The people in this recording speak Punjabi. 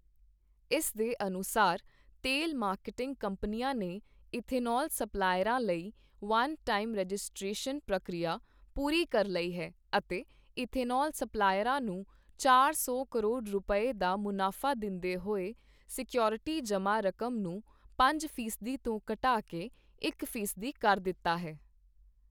ਇਸ ਦੇ ਅਨੁਸਾਰ, ਤੇਲ ਮਾਰਕੀਟਿੰਗ ਕੰਪਨੀਆਂ ਨੇ ਇਥਨੌਲ ਸਪਲਾਇਰਾਂ ਲਈ ਵੰਨ ਟਾਈਮ ਰਜਿਸਟ੍ਰੇਸ਼ਨ ਪ੍ਰਕਿਰਿਆ ਪੂਰੀ ਕਰ ਲਈ ਹੈ ਅਤੇ ਇਥਨੌਲ ਸਪਲਾਇਰਾਂ ਨੂੰ ਚਾਰ ਸੌ ਕਰੋੜ ਰੁਪਏ, ਦਾ ਮੁਨਾਫਾ ਦਿੰਦੇ ਹੋਏ ਸਿਕਊਰਿਟੀ ਜਮ੍ਹਾਂ ਰਕਮ ਨੂੰ ਪੰਜ ਫ਼ੀਸਦੀ ਤੋਂ ਘਟਾ ਕੇ ਇਕ ਫ਼ੀਸਦੀ ਕਰ ਦਿੱਤਾ ਹੈ।